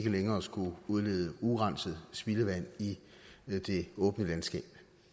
længere skulle udledes urenset spildevand i det åbne land